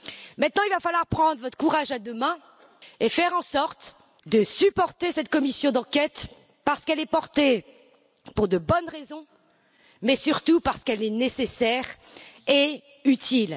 Maintenant, il va falloir prendre votre courage à deux mains et faire en sorte de soutenir cette commission d'enquête, parce qu'elle est proposée pour de bonnes raisons, mais surtout parce qu'elle est nécessaire et utile.